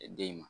Den ma